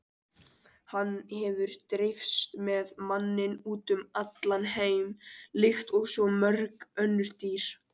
Hann hefur dreifst með manninum út um allan heim líkt og svo mörg önnur dýr.